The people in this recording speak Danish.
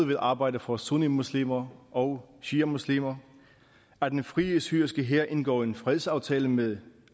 vil arbejde for sunnimuslimer og shiamuslimer at den frie syriske hær indgår en fredsaftale med